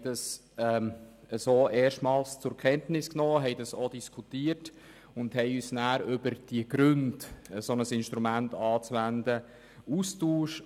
Wir haben dies so erstmals zur Kenntnis genommen, haben darüber diskutiert und uns anschliessend über die Gründe ausgetauscht, weshalb ein solches Instrument anzuwenden ist.